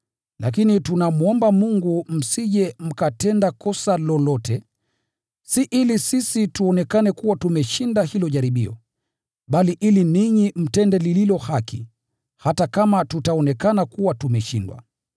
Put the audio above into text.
Lakini tunamwomba Mungu msije mkatenda kosa lolote, si ili sisi tuonekane kuwa tumeshinda hilo jaribio, bali ili ninyi mtende lililo haki, hata kama tutaonekana kuwa tumeshindwa.